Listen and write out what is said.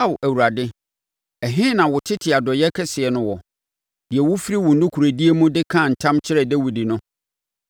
Ao Awurade, ɛhe na wo tete adɔeɛ kɛseɛ no wɔ, deɛ wofiri wo nokorɛdie mu de kaa ntam kyerɛɛ Dawid no?